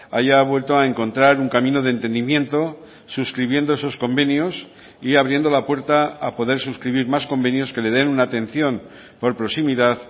haya vuelto a encontrar un camino de entendimiento suscribiendo esos convenios y abriendo la puerta a poder suscribir más convenios que le den una atención por proximidad